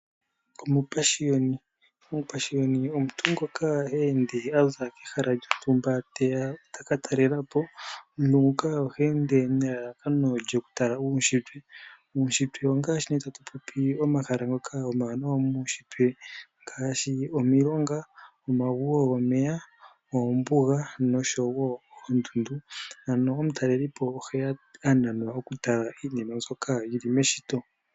Omupashiyoni Omupashiyoni omuntu ngoka ha ende a za kehala lyontumba teya taka talela po, omuntu nguka oha ende nelalakano lyoku tala uunshitwe. Uunshitwe ongaashi nee tatu popi omahala ngoka omawaanawa muunshitwe ngaashi omilonga, omagwo gomeya, oombuga noshowo oondundu. Ano omutaleli po ohe ya a nanwa oku tala iinima mbyoka yili meshito.